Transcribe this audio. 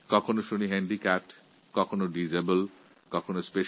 কখনও handicapped handicapped তো কখনো ডিসেবল্ড শব্দ শুনতাম